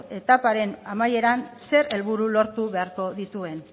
etaparen amaieran zer helburu lortu beharko dituen